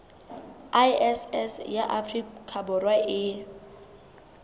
iss ya afrika borwa e